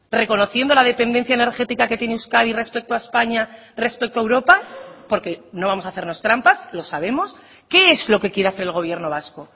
reconociendo la dependencia energética que tiene euskadi respecto a españa respecto a europa porque no vamos a hacernos trampas lo sabemos qué es lo que quiere hacer el gobierno vasco